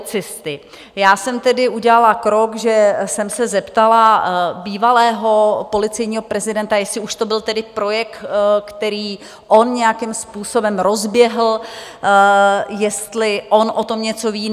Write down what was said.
Já jsem tedy udělala krok, že jsem se zeptala bývalého policejního prezidenta, jestli už to byl tedy projekt, který on nějakým způsobem rozběhl, jestli on o tom něco ví.